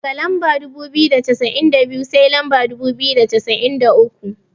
Daga lamba dubu biyu da cassa'in da biyu, sai lamba dubu biyu da cassa'in da uku.